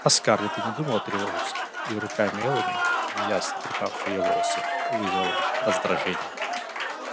а скарлетт и не думала тревожиться и рука мелани неясно трепавшая её волосы вызвала лишь раздражение